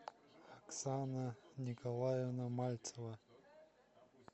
оксана николаевна мальцева